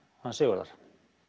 hans Sigurðar